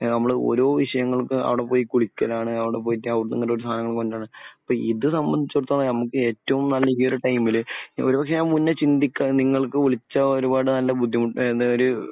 ഏഹ് നമ്മൾ ഓരോ വിഷയങ്ങൾക്കും അവിടെ പോയി കുടിക്കലാണ്. അവിടെ പോയിട്ട് അവിടുന്ന് ഇങ്ങോട് സാധനങ്ങൾ കൊണ്ട് വരുന്നത്. അപ്പോൾ ഇത് നമ്മൾ വെച്ചാൽ നമുക്ക് ഏറ്റവും ഈ ഒരു ടൈമിൽ ഒരു കൊല്ലം മുന്നേ ചിന്തിക്കാമായിരുന്നു. നിങ്ങൾക്ക് വിളിച്ചാൽ ഒരുപാട് നല്ല ബുദ്ധിമുട്ടോ ഏഹ് എന്താ ഒരു